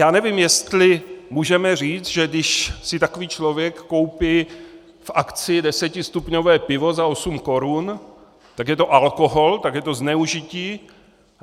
Já nevím, jestli můžeme říct, že když si takový člověk koupí v akci desetistupňové pivo za 8 Kč, tak je to alkohol, tak je to zneužití.